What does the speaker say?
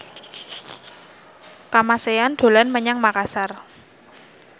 Kamasean dolan menyang Makasar